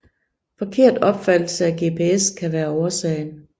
Forkert opfattelse af GPS kan være årsagen